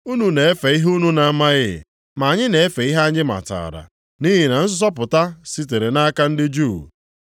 Unu na-efe ihe unu na-amaghị ma anyị na-efe ihe anyị matara, nʼihi na nzọpụta sitere nʼaka ndị Juu.